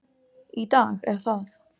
Í dag er það